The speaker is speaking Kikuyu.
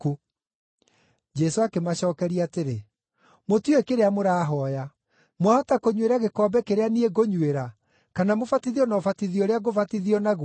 Jesũ akĩmacookeria atĩrĩ, “Mũtiũĩ kĩrĩa mũrahooya. Mwahota kũnyuĩra gĩkombe kĩrĩa niĩ ngũnyuĩra, kana mũbatithio na ũbatithio ũrĩa ngũbatithio naguo?”